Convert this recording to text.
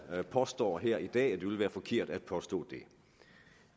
påstår her i dag det ville være forkert at påstå det